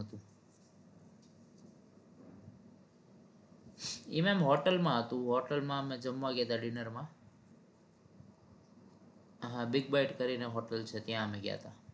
એ ma'am hotel માં હતું hotel માં અમે જમવા ગયા હતા dinner માં big bite કરી ને hotel છે ત્યાં અમે ગયા હતા